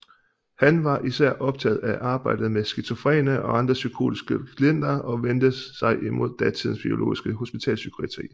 Han var især optaget af arbejdet med skizofrene og andre psykotiske klienter og vendte sig imod datidens biologiske hospitalspsykiatri